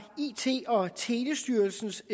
it og telestyrelsens